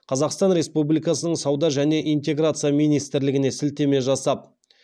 қазақстан республикасының сауда және интеграция министрлігіне сілтеме жасап